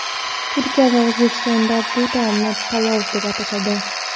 Turkiya va O‘zbekistonda bu taomni palov deb atashadi.